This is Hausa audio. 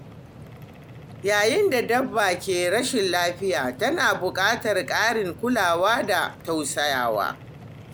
Yayin da dabba ke rashin lafiya, tana buƙatar ƙarin kulawa da tausayawa.